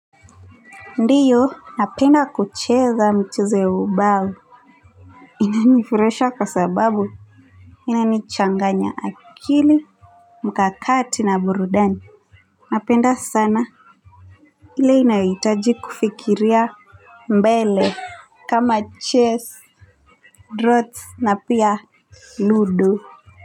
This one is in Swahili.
Ndiyo napenda kucheza michezo ya ubao inanifurahisha kwa sababu inanichanganya akili mkakati na burudani. Napenda sana ile inayohitaji kufikiria mbele kama chess, drouts na pia ludo.